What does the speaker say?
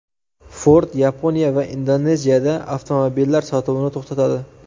Ford Yaponiya va Indoneziyada avtomobillari sotuvini to‘xtatadi.